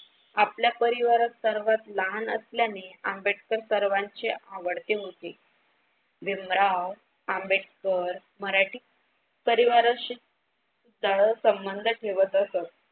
आपल्या परिवारात सर्वात लहान असल्याने आंबेडकर सर्वांचे आवडते होते. भीमराव आंबेडकर मराठी परिवाराशी संबंध ठेवत असत.